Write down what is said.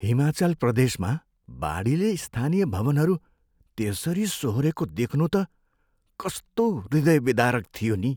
हिमाचल प्रदेशमा बाढीले स्थानीय भवनहरू त्यसरी सोहोरेको देख्नु त कस्तो हृदयविदारक थियो नि।